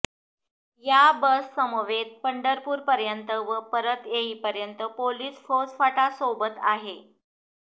या बससमवेत पंढरपूरपर्यंत व परत येईपर्यंत पोलीस फौजफाटा सोबत आहे